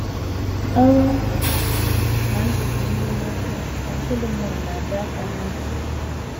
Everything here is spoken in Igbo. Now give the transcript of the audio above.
“ Ọnwụ na ndụ dị ire n’aka, ” ka Solomọn na - adọ aka ná ntị.